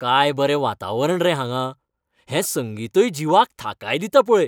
काय बरें वातावरण रे हांगां, हें संगीतय जिवाक थाकाय दिता पळय.